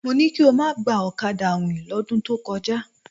Mo ní kí o má gba ọ̀kadà àwìn lọ́dún tó kọjá.